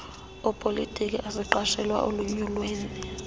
opolitiko azigqatsela elunyulweni